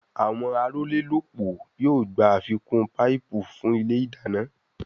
Àwọn arólélópòó yóò gbà àfikún paipu fún ilé ìdáná